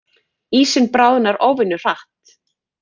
Ísinn bráðnar óvenju hratt